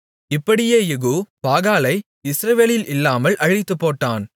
இப்படியே யெகூ பாகாலை இஸ்ரவேலில் இல்லாமல் அழித்துப்போட்டான்